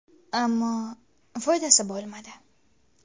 Ammo foydasi bo‘lmadi.